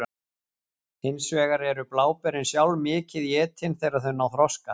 Hins vegar eru bláberin sjálf mikið étin þegar þau ná þroska.